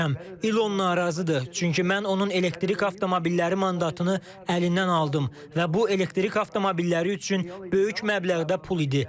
İlon narazıdır, çünki mən onun elektrik avtomobilləri mandatını əlindən aldım və bu elektrik avtomobilləri üçün böyük məbləğdə pul idi.